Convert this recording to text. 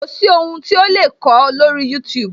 Kò sí ohun tí a o lè kọ lórí youtube